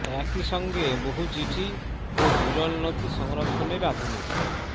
একই সঙ্গে বহু চিঠি ও বিরল নথি সংরক্ষণের আধুনিক